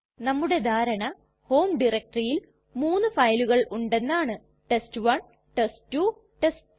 നമ്മുടെ ധാരണ ഹോം ടയരക്റ്റെറിയിൽ മൂന്നു ഫയലുകൾ ഉണ്ടെന്നാണ് ടെസ്റ്റ്1 ടെസ്റ്റ്2 ടെസ്റ്റ്3